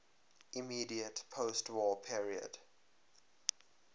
immediate postwar period